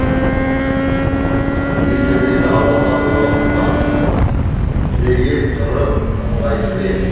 үй төбесі аласа болғандықтан түрегеп тұру ыңғайсыз еді